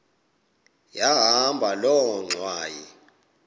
yahamba loo ngxwayi